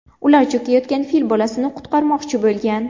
Ular cho‘kayotgan fil bolasini qutqarmoqchi bo‘lgan.